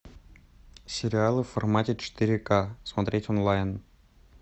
сериалы в формате четыре ка смотреть онлайн